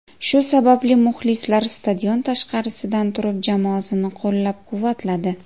Shu sababli muxlislar stadion tashqarisidan turib jamoasini qo‘llab-quvvatladi.